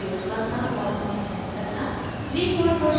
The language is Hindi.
* guidelines प्रयोग करना और उन्हें set करना